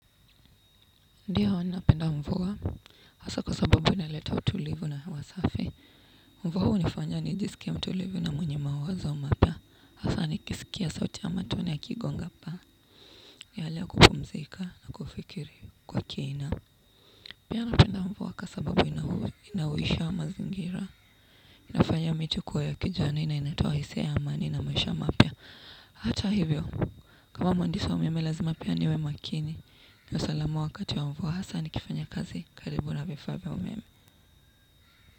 Ndiyo napenda mvua, hasa kwa sababu inaleta tulivu na hewa safi. Mvua hunifanya nijisikie mtulivu na mwenye mawazo mapya. Hasa nikisikia sauti ya matone yakigonga paa ni hali ya kupumzika na kufikiri kwa kina. Pia napenda mvua kwa sababu inahuisha wa mazingira. Inafanya miti kuwa ya kijani na inatoa hisia ya amani na maisha mapya, hata hivyo. Kama mhandisi wa umeme lazima pia niwe makini. Niwe salama wakati wa mvua hasa nikifanya kazi. Karibu na vifaa vya umeme.